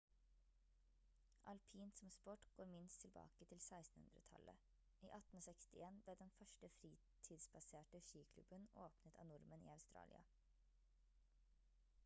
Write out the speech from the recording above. alpint som sport går minst tilbake til 1600-tallet i 1861 ble den første fritidsbaserte skiklubben åpnet av nordmenn i australia